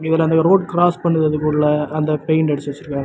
இதுலந்த road cross பண்றதுக்குள்ள அந்த paint அடிச்சு வச்சிருக்காங்க.